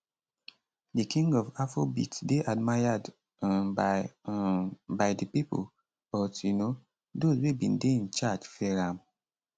di king of afrobeat dey admired um by um by di pipo but um dose wey bin dey in charge fear am